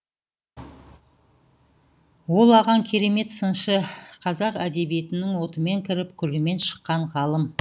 ол ағаң керемет сыншы қазақ әдебиетінің отымен кіріп күлімен шыққан ғалым